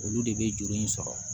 Olu de bɛ juru in sɔrɔ